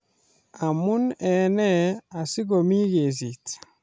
Amune en nee asikomi kesit